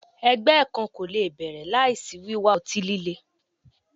Ẹgbẹ kan ko le bẹrẹ laisi wiwa ọti-lile